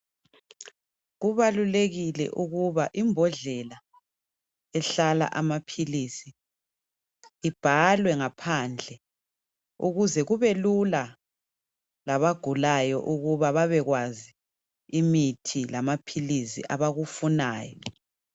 Kubalulekile ukuba imbodlela ehlala amaphilisi ibhalwe ngaphandle ukuze kube lula labagulayo ukuba bebekwazi imithi lamaphilisi abakufunayo.